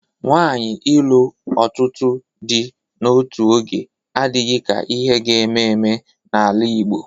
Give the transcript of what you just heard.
Nwaanyi ịlụ ọtụtụ di n'otu oge adịghị ka ihe ga-eme eme n'ala Igbo.